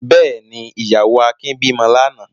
Bẹ́ẹ̀ ni, ìyàwó Akin bímọ lánàá.